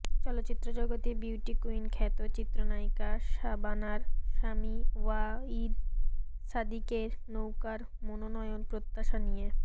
চলচ্চিত্র জগতে বিউটি কুইনখ্যাত চিত্রনায়িকা শাবানার স্বামী ওয়াহিদ সাদিকের নৌকার মনোনয়ন প্রত্যাশা নিয়ে